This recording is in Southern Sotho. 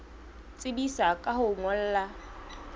tsebisa ka ho o ngolla